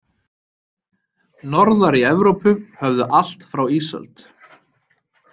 Norðar í Evrópu höfðu allt frá ísöld.